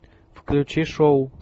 включи шоу